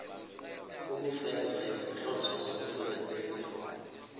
ukufeza izinhloso zokusebenzisa